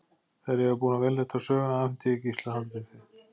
Þegar ég var búin að vélrita söguna afhenti ég Gísla handritið.